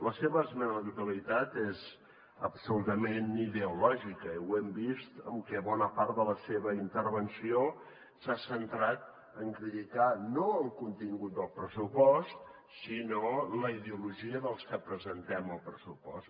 la seva esmena a la totalitat és absolutament ideològica i ho hem vist en què bona part de la seva intervenció s’ha centrat a criticar no el contingut del pressupost sinó la ideologia dels que presentem el pressupost